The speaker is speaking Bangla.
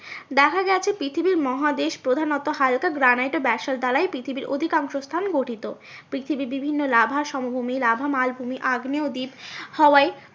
দেখা যাচ্ছে পৃথিবীর মহাদেশ প্রধানত হালকা গ্রানাইট ও ব্যাসল্ট দ্বারাই পৃথিবীর অধিকাংশ স্থান গঠিত। পৃথিবী বিভিন্ন লাভা সমভূমি লাভা মালভূমি আগ্নেয়দ্বীপ হওয়ায়